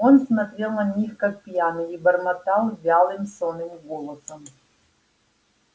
он смотрел на них как пьяный и бормотал вялым сонным голосом